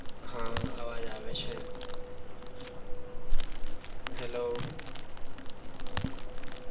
હા અવાજ આવે છે hello હાનજી sir અવાજ છે તમારો